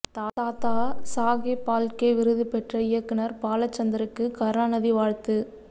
தாதா சாகேப் பால்கே விருது பெற்ற இயக்குனர் பாலசந்தருக்கு கருணாநிதி வாழ்த்து